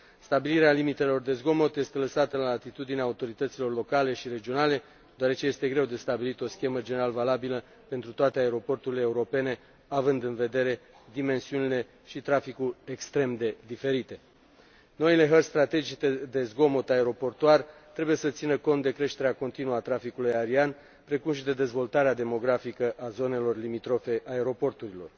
Stabilirea limitelor de zgomot este lăsată la latitudinea autorităților locale și regionale, deoarece este greu de stabilit o schemă general valabilă pentru toate aeroporturile europene, având în vedere dimensiunile și traficul extrem de diferite. Noile hărți strategice de zgomot aeroportuar trebuie să țină cont de creșterea continuă a traficului aerian, precum și de dezvoltarea demografică a zonelor limitrofe aeroporturilor.